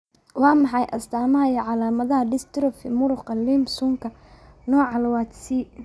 Waa maxay astaamaha iyo calaamadaha dystrophy muruqa Limb suunka, nooca lawad C?